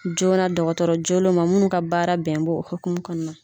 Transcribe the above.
Joona dɔgɔtɔrɔ joolen ma munnu ka baara bɛn bɛ o hokumu kɔnɔna na.